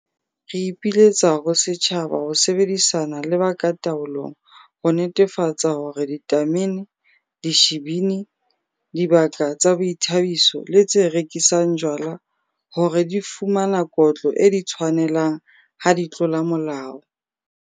Re ipiletsa ho setjhaba ho sebedisana le ba ka taolong ho netefatsa hore ditamene, dishibini, dibaka tsa boithabiso le tse rekisang jwala hore di fumana kotlo e di tshwanelang ha di tlola molao.